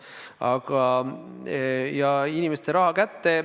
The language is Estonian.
Aga inimestele raha kätte ...